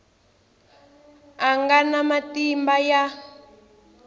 a nga na matimba ya